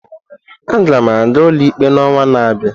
Aga m aga ụlọikpe n'ọnwa na-abịa.